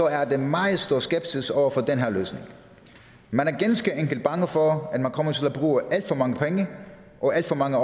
er der meget stor skepsis over for den her løsning man er ganske enkelt bange for at man kommer til at bruge alt for mange penge og alt for mange